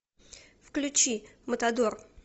включи матадор